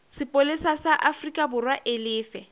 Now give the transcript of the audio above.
sepolesa sa aforikaborwa e lefe